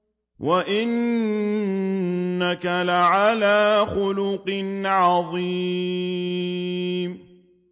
وَإِنَّكَ لَعَلَىٰ خُلُقٍ عَظِيمٍ